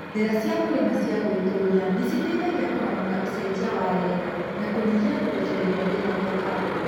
Njĩra cia kũrĩma cia gwĩtũria nĩciteithagia kũramata ũcenjia wa rĩera na kũnyihia kũrekereria rĩera rĩa carbon